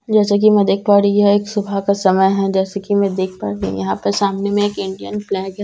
जैसा कि मैं देख पा रही यह एक सुबह का समय है जैसा कि मैं देख पा रही यहां पे सामने में एक इंडियन फ्लैग है।